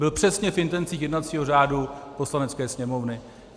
Byl přesně v intencích jednacího řádu Poslanecké sněmovny.